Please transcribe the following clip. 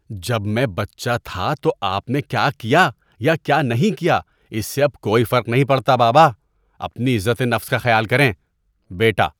جب میں بچہ تھا تو آپ نے کیا کیا یا کیا نہیں کیا اس سے اب کوئی فرق نہیں پڑتا، بابا۔ اپنی عزت نفس کا خیال کریں۔ (بیٹا)